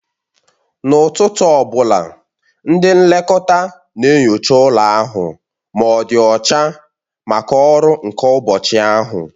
N'ụtụtụ ọ bụla, ndị nlekọta na-enyocha ụlọ ahụ ma ọ dị ọcha maka ọrụ nke ụbọchị ahụ